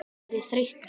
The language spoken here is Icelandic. Er ég þreyttur?